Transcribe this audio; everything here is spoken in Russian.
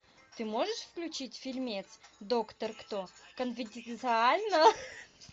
ты можешь включить фильмец доктор кто конфиденциально